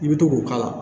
I bɛ to k'o k'a la